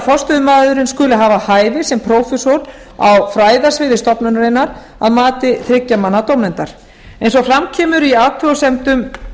forstöðumaðurinn skuli hafa hæfi sem prófessor á fræðasviði stofnunarinnar að mati þriggja manna dómnefndar eins og fram kemur í athugasemdum